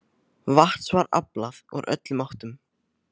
Vatns var aflað úr öllum áttum.